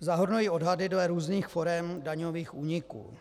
zahrnují odhady dle různých forem daňových úniků.